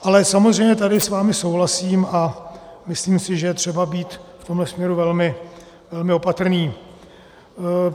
Ale samozřejmě tady s vámi souhlasím a myslím si, že je třeba být v tomto směru velmi opatrný.